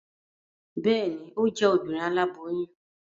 Bẹẹni, o jẹ Obìnrin aláboyún